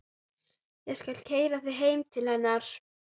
Hennar vegna ígrundaði ég stöðu mína vandlega.